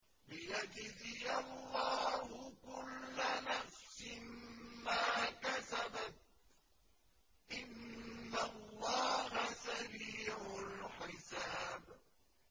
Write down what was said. لِيَجْزِيَ اللَّهُ كُلَّ نَفْسٍ مَّا كَسَبَتْ ۚ إِنَّ اللَّهَ سَرِيعُ الْحِسَابِ